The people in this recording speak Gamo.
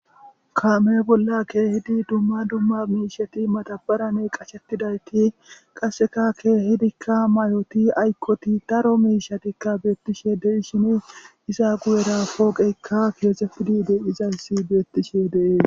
kaame bolla keehidi dumma dumma miishati madabaraney qashettidayti qasseka keehidikka mayoti aykkoti daro miishatikka beettishe de'ishini iza guyera pooqeykka keexefidi de'izasi beettishe dees